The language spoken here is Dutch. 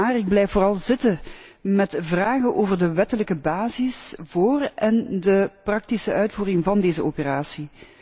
Maar ik blijf vooral zitten met vragen over de wettelijke basis voor en de praktische uitvoering van deze operatie.